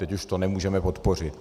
Teď už to nemůžeme podpořit.